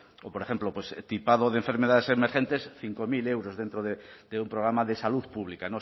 o por ejemplo tipado de enfermedades emergentes cinco mil euros dentro de un programa de salud pública